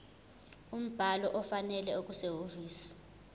umbhalo ofanele okusehhovisi